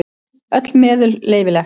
Öll meðul leyfileg.